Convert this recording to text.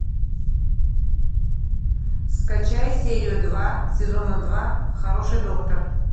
скачай серию два сезона два хороший доктор